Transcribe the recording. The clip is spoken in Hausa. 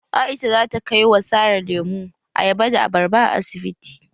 Aisha zata kai wa Sara lemu, ayaba da abarba a asibiti.